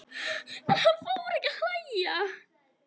Hann fór ekki að hlæja.